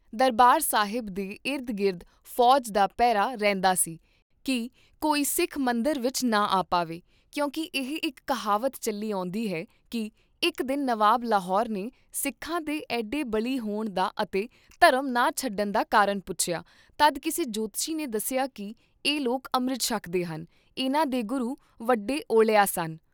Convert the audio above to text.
ਦਰਬਾਰ ਸਾਹਿਬ ਦੇ ਇਰਦ ਗਿਰਦ ਫੌਜ ਦਾ ਪਹਿਰਾ ਰਹਿੰਦਾ ਸੀ ਕੀ ਕੋਈ ਸਿੱਖ ਮੰਦਰ ਵਿਚ ਨਾ ਆ ਪਾਵੇ, ਕਿਉਂਕ ਇਹ ਇਕ ਕਿਹਾਵਤ ਚੱਲੀ ਆਉਂਦੀ ਹੈ ਕੀ ਇਕ ਦਿਨ ਨਵਾਬ ਲਾਹੌਰ ਨੇ ਸਿੱਖਾਂ ਦੇ ਐਡੇ ਬਲੀ ਹੋਣ ਦਾ ਅਤੇ ਧਰਮ ਨਾ ਛੱਡਣ ਦਾ ਕਾਰਨ ਪੁੱਛਿਆ ਤਦ ਕਿਸੇ ਜੋਤਸ਼ੀ ਨੇ ਦੱਸਿਆ ਕੀ ਇਹ ਲੋਕ ਅੰਮ੍ਰਿਤ ਛਕਦੇ ਹਨ, ਇਹਨਾਂ ਦੇ ਗੁਰੂ ਵੱਡੇ ਓਲਿਆ ਸਨ।